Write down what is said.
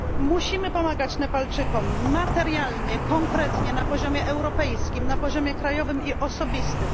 Musimy pomagać Nepalczykom materialnie, konkretnie, na poziomie europejskim, na poziomie krajowym i osobistym.